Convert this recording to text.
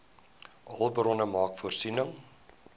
hulpbronne maak voorsiening